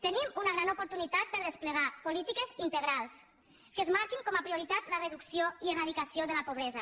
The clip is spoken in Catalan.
tenim una gran oportunitat per a desplegar polítiques integrals que es marquin com a prioritat la reducció i eradicació de la pobresa